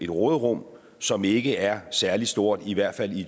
råderum som ikke er særlig stort i hvert fald i